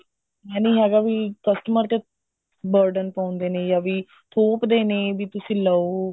ਐਂ ਨਹੀਂ ਹੈਗਾ ਵੀ customer ਦੇ burden ਪਾਉਂਦੇ ਨੇ ਜਾ ਵੀ ਥੋਪਦੇ ਨੇ ਵੀ ਤੁਸੀਂ ਲਓ